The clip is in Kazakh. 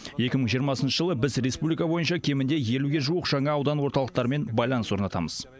екі мың жиырмасыншы жылы біз республика бойынша кемінде елуге жуық жаңа аудан орталықтарымен байланыс орнатамыз